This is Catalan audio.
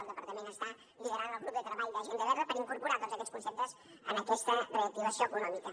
el departament està liderant el grup de treball de l’agenda verda per incorporar tots aquests conceptes en aquesta reactivació econòmica